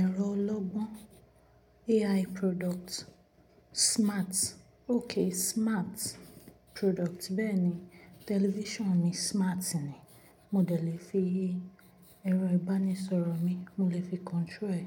Ẹ̀rọ ọlọ́gbọ́n AI product smart, okay smart product. Bẹ́ẹ̀ni, television mi smart ni. Mo lè fi, ẹ̀rọ ìbánisọ̀rọ̀ mi mo lè fi control ẹ̀